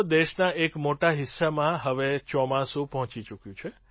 દેશના એક મોટા હિસ્સામાં હવે ચોમાસું પહોંચી ચૂક્યું છે